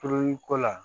Puru-ko la